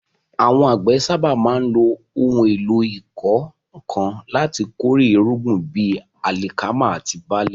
Àwọn àgbẹ̀ sábà máa ń lo ohun èlò ìkọ́ nǹkan láti kórè irúgbìn bíi alikama àti barle.